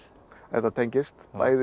þetta tengist